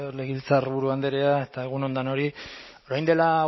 legebiltzarburu andrea eta egun on denori orain dela